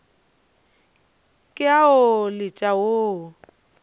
ke a o letša wo